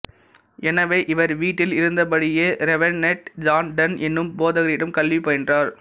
எனவே இவர் வீட்டில் இருந்தபடியே ரெவெரென்ட் ஜான் டன் எனும் போதகரிடம் கல்வி பயின்றார்